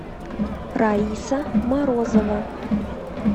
раиса морозова